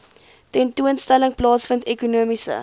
tentoonstelling plaasvind ekonomiese